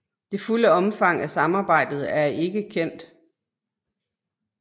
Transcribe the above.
Det fulde omfang af samarbejdet er ikke kendt